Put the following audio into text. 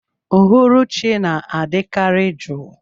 Uhuruchi na-adị kari juu.